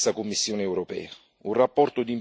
anche per la stessa Commissione europea.